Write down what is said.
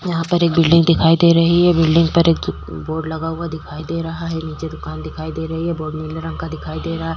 यहाँ पर एक बिल्डिंग दिखाई दे रही है। बिल्डिंग पर एक बोर्ड लगा हुआ दिख रहा है। नीचे दुकान दिखाई दे रही है। बोर्ड नीले रंग का दिखाई दे रहा है।